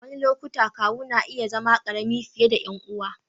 A wasu lokuta, kawu na iya zama ƙarami fiye da ƴan uwan.